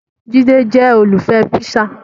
Jide jẹ́ olùfẹ́ píṣà